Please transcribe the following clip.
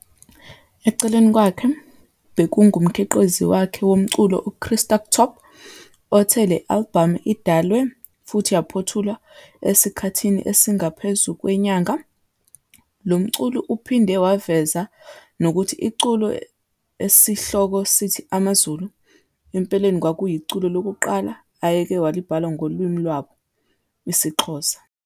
Eceleni kwakhe bekungumkhiqizi wakhe womculo uChrister Kthob, othi le albhamu idalwe futhi yaphothulwa esikhathini esingaphezu kwenyanga. Lo mculi uphinde waveza nokuthi iculo esihloko sithi "Amazulu", empeleni kwakuyiculo lokuqala ayeke walibhala ngolimi lwabo, isiXhosa.